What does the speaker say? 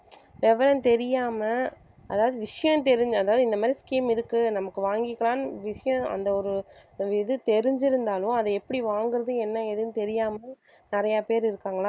விவரம் தெரியாம அதாவது விஷயம் தெரிஞ்சு அதாவது இந்த மாதிரி scheme இருக்கு நமக்கு வாங்கிக்கலாம்னு விஷயம் அந்த ஒரு இது தெரிஞ்சிருந்தாலும் அதை எப்படி வாங்குறது என்ன ஏதுன்னு தெரியாம நிறைய பேர் இருக்காங்களா